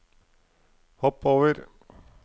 hopp over